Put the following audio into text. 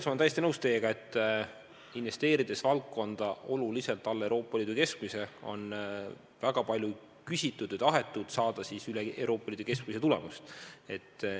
Ma olen täiesti nõus, et investeerides valdkonda oluliselt alla Euroopa Liidu keskmise, on väga palju tahetud, kui loodetakse saada üle Euroopa Liidu keskmise tulemust.